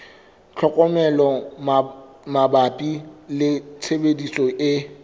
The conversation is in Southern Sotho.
tlhokomelo mabapi le tshebediso e